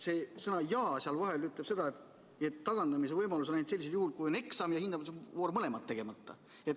See sõna "ja" seal vahel ütleb seda, et tagandamise võimalus on ainult sellisel juhul, kui on eksam ja hindamisvoor mõlemad tegemata.